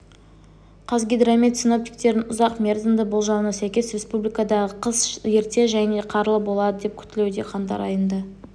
қазгидромет синоптиктерінің ұзақ мерзімді болжауына сәйкес республикадағы қыс ерте және қарлы болады деп күтілуде қаңтар айында